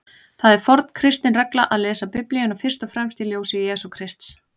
Það er forn kristin regla að lesa Biblíuna fyrst og fremst í ljósi Jesú Krists.